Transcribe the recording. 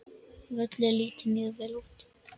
Völlur lítur mjög vel út.